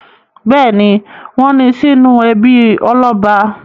Bẹ́ẹ̀ ni, wọ́n ní sínú ẹbí ọlọ́ba.